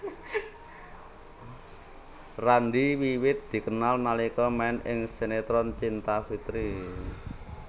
Randy wiwit dikenal nalika main ing sinetron Cinta Fitri